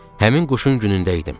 Həmin quşun günündə idim.